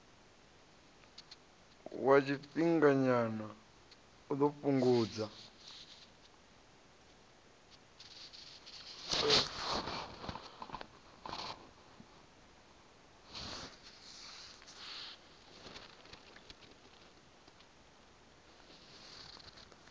wa tshifhinganyana u ḓo fhungudza